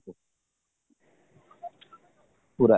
ପୁରା